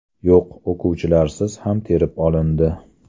Yo‘q, o‘quvchilarsiz ham terib olindi.